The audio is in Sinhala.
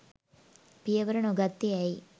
පියවර නොගත්තේ ඇයි